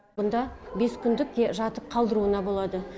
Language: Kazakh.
мұнда бес күндік жатып қалдыруына болады